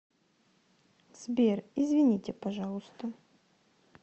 сбер извините пожалуйста